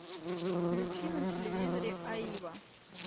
включи на телевизоре аива